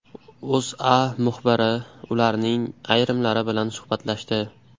O‘zA muxbiri ularning ayrimlari bilan suhbatlashdi .